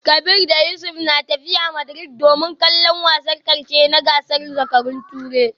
Kabir da Yusuf na tafiya Madrid domin kallon wasan karshe na gasar zakarun Turai